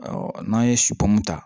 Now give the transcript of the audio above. n'an ye ta